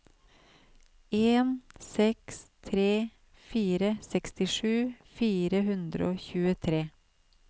en seks tre fire sekstisju fire hundre og tjuetre